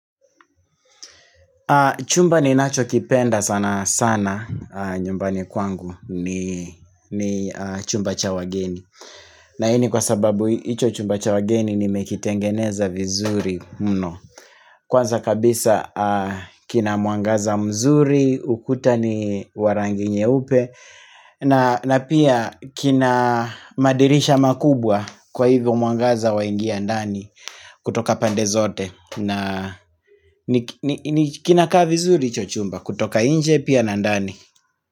Chumba ninachokipenda sana sana nyumbani kwangu ni ni chumba cha wageni. Na hii ni kwa sababu hicho chumba cha wageni nimekitengeneza vizuri mno. Kwanza kabisa, kina mwangaza mzuri, ukuta ni wa rangi nyeupe. Na pia kina madirisha makubwa, kwa hivyo mwangaza waingia ndani kutoka pande zote. Na kinakaa vizuri hicho chumba kutoka nje pia na ndani.